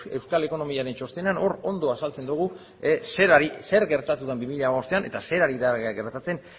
euskal ekonomiaren txostena hor ondo azaltzen dugu zer gertatu den bi mila hamabostean eta zer ari da gertatzen